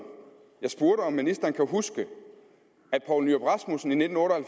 jeg spurgte om ministeren kan huske at poul nyrup rasmussen i nitten otte og